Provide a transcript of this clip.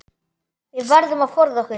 Við verðum að forða okkur.